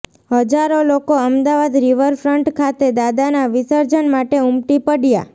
હજારો લોકો અમદાવાદ રિવરફ્રન્ટ ખાતે દાદાના વિસર્જન માટે ઉમટી પડ્યા